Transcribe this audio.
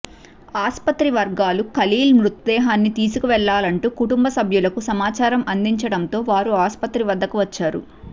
ఆసుపత్రి వర్గాలు ఖలీల్ మృతదేహాన్ని తీసుకువెళ్లాలంటూ కుటుంబ సభ్యులకు సమాచారం అందించడంతో వారు ఆసుపత్రి వద్దకు వచ్చారు